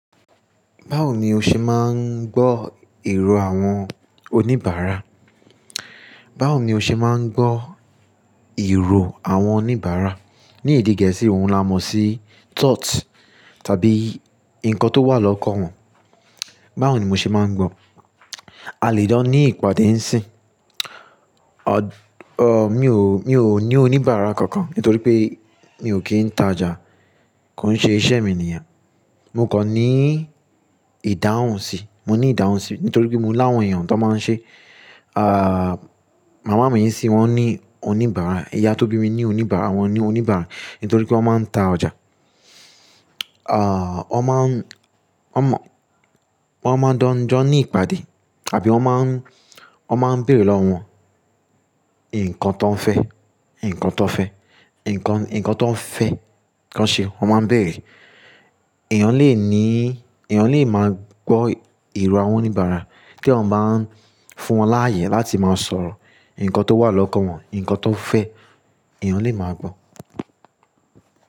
Báwo ni o ṣe máa ń gbọ́ èrò àwọn oníbàárà? Báwo ni o ṣe máa ń gbọ́ èrò àwọn oníbàárà? Ní èdè Gẹ̀ẹ́sì ohun là mo sí thought tàbí nǹkan tó wà lọ́kọ̀ wọn. Báwo ni mo ṣe máa ń gbọ́? A lè dán ní ìpàdé ń sìn. Mi ò, mi ò ní oníbàárà kankan nítorí pé mi ò kí ń ta ọjà. Kò ń ṣe iṣẹ́ mi nìyẹn. Mo kàn ní ìdáhùn sí, mo ní ìdáhùn sí nítorí pé mo láwọn èèyàn tó máa ń ṣe. Màmá mi sì wọ́n ní oníbàárà, ìyá tó bí mi ní oníbàárà, wọ́n ní oníbàárà nítorí pé wọ́n máa ń ta ọjà. Wọ́n máa ń, wọ́n mọ, wọ́n máa ń jọ ní ìpàdé tàbí wọ́n máa ń, wọ́n máa ń bèrè lọ́wọ́ wọn nǹkan tó ń fẹ́, nǹkan tó ń fẹ́, nǹkan, nǹkan tó ń fẹ́ kí wọ́n ṣe. Wọ́n máa ń bèrè. Ẹ̀yàn lè ní, ẹ̀yàn lè máa gbọ́ èrò àwọn oníbàárà kí wọ́n máa ń fún wọn láyè láti máa sọ̀rọ̀. Nǹkan tó wà lọ́kọ̀ wọn, nǹkan tó fẹ́ ẹ̀yàn lè máa gbọ́.